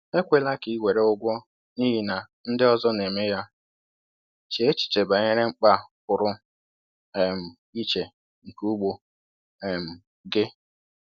Ekwela ka ị were ụgwọ n’ihi na ndị ọzọ na-eme ya; chee echiche banyere mkpa pụrụ um iche nke ugbo um gị.